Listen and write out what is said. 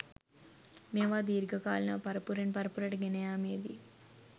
මේවා දීර්ඝ කාලීනව පරපුරෙන් පරපුරට ගෙන යාමේදී